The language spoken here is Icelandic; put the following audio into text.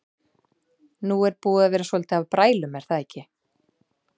Nú er búið að vera svolítið af brælum er það ekki?